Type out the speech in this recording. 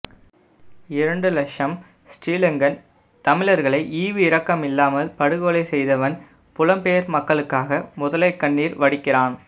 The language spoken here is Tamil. இரண்டு லக்ஷம் ஸ்ரீலங்கன் தமிழர்களை ஈவு இரக்கம் இல்லாமல் படுகொலை செய்தவன் புலம் பெயர் மக்களுக்காக முதலை கண்ணீர் வடிக்கிறான்